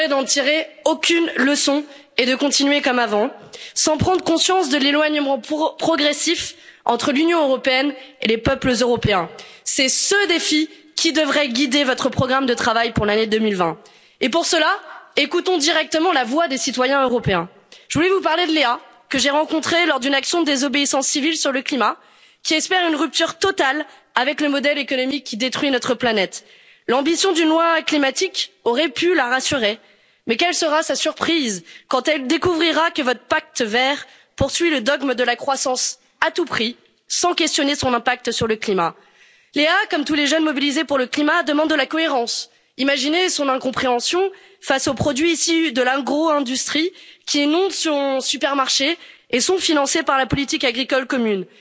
Madame la présidente, cette semaine marque un tournant dans l'histoire de l'Union européenne avec le départ du Royaume-Uni. Le pire serait de n'en tirer aucune leçon et de continuer comme avant, sans prendre conscience de l'éloignement progressif entre l'Union européenne et les peuples européens. C'est ce défi qui devrait guider votre programme de travail pour l'année 2020 et, pour cela, écoutons directement la voix des citoyens européens. Je voulais vous parler de Léa, que j'ai rencontrée lors d'une action de désobéissance civile sur le climat, qui espère une rupture totale avec le modèle économique qui détruit notre planète. L'ambition d'une loi climatique aurait pu la rassurer, mais quelle sera sa surprise quand elle découvrira que votre pacte vert poursuit le dogme de la croissance à tout prix, sans questionner son impact sur le climat. Léa, comme tous les jeunes mobilisés pour le climat, demande de la cohérence. Imaginez son incompréhension face aux produits issus de l'agro-industrie, qui inondent son supermarché et qui sont financés par la politique agricole commune.